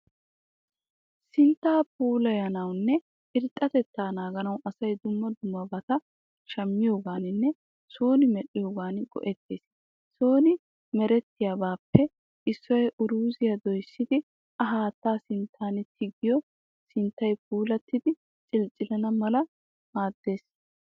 Sintta puulayanawunne irxxatetta naaganawu asay dumma dummabata shammiyoganinne sooni medhdhiyogan go'ettes. Soni merettiyabappe issoy uruzziya doyissidi a haatta sinttan tiyoge sinttay puulattidi cili cilana mala maddes.